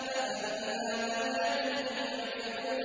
أَفَمِنْ هَٰذَا الْحَدِيثِ تَعْجَبُونَ